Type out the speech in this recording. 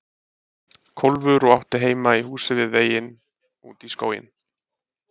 Kólfur og átti heima í húsinu við veginn út í skóginn.